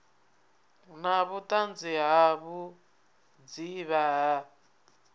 na vhuṱanzi ha vhudzivha ha